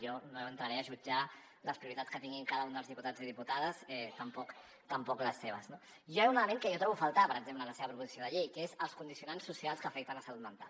jo no entraré a jutjar les prioritats que tingui cada un dels diputats i diputades tampoc les seves no hi ha un element que jo trobo a faltar per exemple en la seva proposició de llei que és els condicionants socials que afecten la salut mental